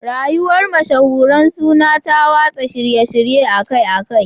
Rayuwar mashahuran suna ta watsa shirye-shirye akai-akai